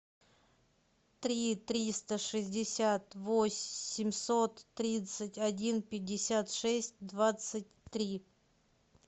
три триста шестьдесят восемьсот тридцать один пятьдесят шесть двадцать три